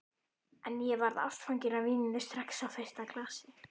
En ég varð ástfangin af víninu strax á fyrsta glasi.